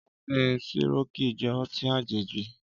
Ọtin Sirọki jẹ̀ ọtin àjéji